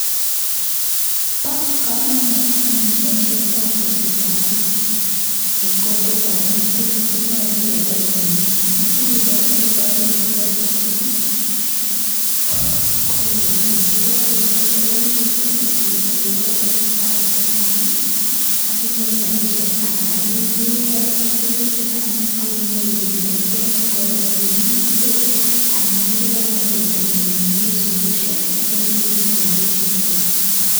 Ba kamanut anyun baishet ab ribset ab en kokwet ngamun pigs koyache kebai komie akikochi amitwagik cheyomekoiyondos ak yegakoiyo koimuche iyalde arek chukanakinyoru rabishek akiyeny pigs chugan akinyoru bendobkoik ngwek anan iyalde bendonyin esokoshek yache inyoru rabishek chwak.